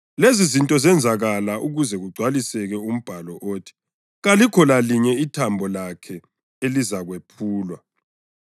Lezizinto zenzakala ukuze kugcwaliseke umbhalo othi: “Kalikho lalinye ithambo lakhe elizakwephulwa,” + 19.36 U-Eksodasi 12.46; AmaNani 9.12; AmaHubo 34.20